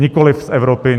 Nikoli z Evropy.